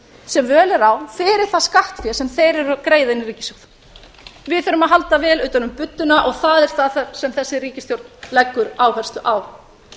sem völ er á fyrir það skattfé sem þeir eru að greiða inn í ríkissjóð við þurfum að halda vel utan um budduna og það er það sem þessi ríkisstjórn leggur áherslu á